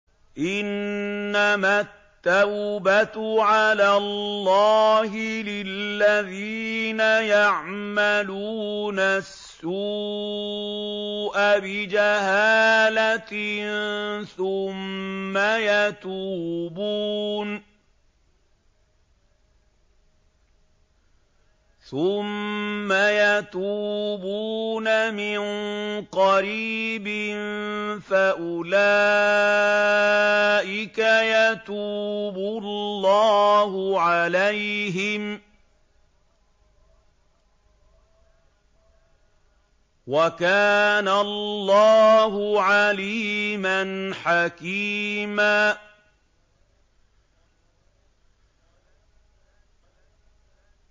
إِنَّمَا التَّوْبَةُ عَلَى اللَّهِ لِلَّذِينَ يَعْمَلُونَ السُّوءَ بِجَهَالَةٍ ثُمَّ يَتُوبُونَ مِن قَرِيبٍ فَأُولَٰئِكَ يَتُوبُ اللَّهُ عَلَيْهِمْ ۗ وَكَانَ اللَّهُ عَلِيمًا حَكِيمًا